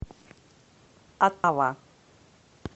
оттава